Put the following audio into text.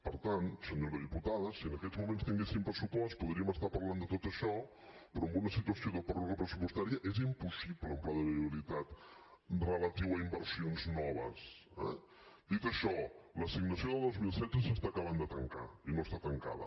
per tant senyora diputada si en aquests moments tinguéssim pressupost podríem estar parlant de tot això però en una situació de pròrroga pressupostària és impossible un pla de viabilitat relatiu a inversions noves eh dit això l’assignació de dos mil setze s’està acabant de tancar i no està tancada